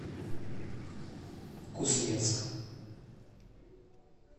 кузнецк